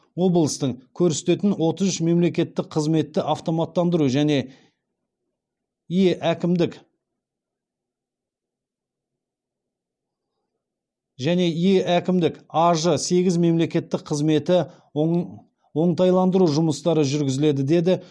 облыстың көрсететін отыз үш мемлекеттік қызметті автоматтандыру және е әкімдік аж сегіз мемлекеттік қызметі оңтайландыру жұмыстары жүргізіледі деді